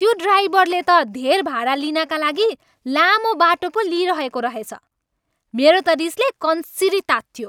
त्यो ड्राइभरले त धेर भाडा लिनाका लागि लामो बाटो पो लिइरहेको रहेछ। मेरो त रिसले कन्सिरी तातियो।